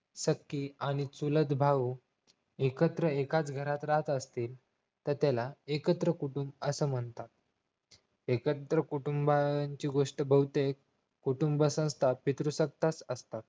सख्खी आणि चुलत भाऊ एकत्र एकाच घरात राहत असतील तर त्याला एकत्र कुटुंब असं म्हणतात एकत्र कुटुंबाची गोष्ट बहुतेक कुटुंबाचा साथ एकरूप असतात